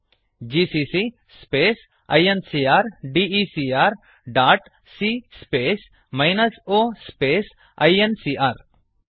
GCC space incrdecrಸಿಎ space o ಇನ್ಕಾರ್ GCC space I N C R D E C R dot C space minus O space I N C R